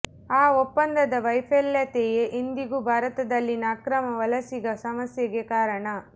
ಆ ಒಪ್ಪಂದದ ವೈಫಲ್ಯತೆಯೇ ಇಂದಿಗೂ ಭಾರತದಲ್ಲಿನ ಅಕ್ರಮ ವಲಸಿಗ ಸಮಸ್ಯೆಗೆ ಕಾರಣ